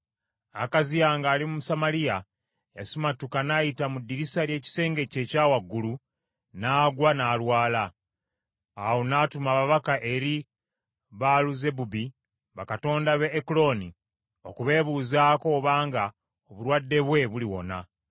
Akaziya ng’ali mu Samaliya y’asimatuka n’ayita mu ddirisa ly’ekisenge kye ekya waggulu, n’agwa, n’alwala. Awo n’atuma ababaka eri Baaluzebubi bakatonda b’e Ekuloni, okubeebuuzaako obanga obulwadde bwe buliwona.